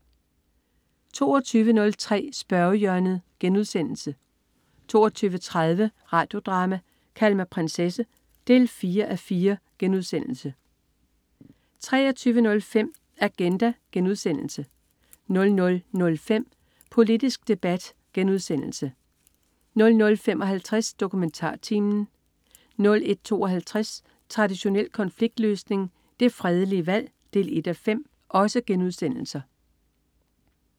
22.03 Spørgehjørnet* 22.30 Radio Drama: Kald mig prinsesse 4:4* 23.05 Agenda* 00.05 Politisk debat* 00.55 DokumentarTimen* 01.52 Traditionel konfliktløsning. Det fredelige valg 1:5*